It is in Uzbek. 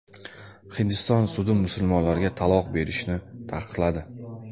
Hindiston sudi musulmonlarga taloq berishni taqiqladi.